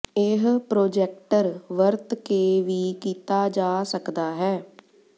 ਇਹ ਪ੍ਰੋਜੈਕਟਰ ਵਰਤ ਕੇ ਵੀ ਕੀਤਾ ਜਾ ਸਕਦਾ ਹੈ